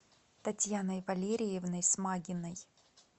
татьяной валериевной смагиной